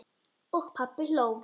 Og pabbi hló.